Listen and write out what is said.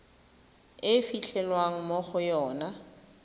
e fitlhelwang mo go yona